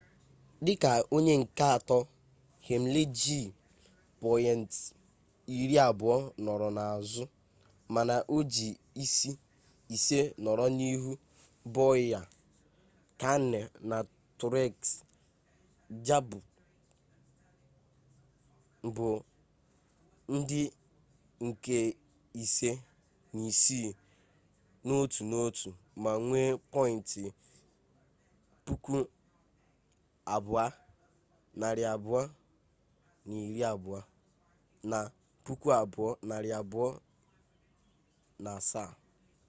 dịka onye nke atọ hamlin ji pọyịnt iri abụọ nọrọ n'azụ mana o ji ise nọrọ n'ihu bowyer kahne na truex jr bụ ndị nke ise na isii n'otu n'otu ma nwee pọyịnt 2,220 na 2,207